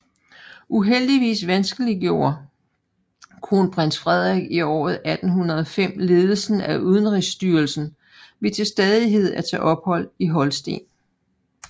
Uheldigvis vanskeliggjorde kronprins Frederik i året 1805 ledelsen af udenrigsstyrelsen ved til stadighed at tage ophold i Holsten